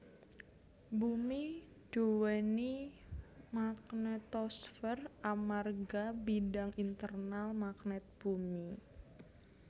Bumi duwéni magnetosfer amarga bidang internal magnet bumi